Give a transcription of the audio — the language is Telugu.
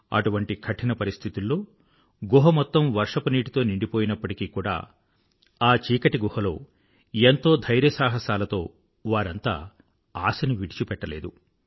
అటువంటి కఠిన పరిస్థితుల్లో గుహ మొత్తం వర్షపు నీటితో నిండిపోయినప్పటికీ కూడా ఆ చీకటి గుహలో ఎంతో ధైర్యసాహసాలతో వారంతా ఆశను విడిచిపెట్టలేదు